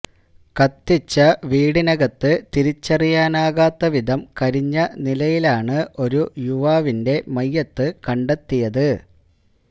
കത്തിച്ച വീടിനകത്ത് തിരിച്ചറിയാനാകാത്ത വിധം കരിഞ്ഞ നിലയിലാണ് ഒരു യുവാവിന്റെ മയ്യിത്ത് കണ്ടെത്തിയത്